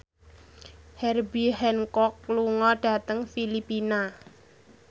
Herbie Hancock lunga dhateng Filipina